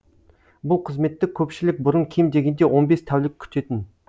бұл қызметті көпшілік бұрын кем дегенде он бес тәулік күтетін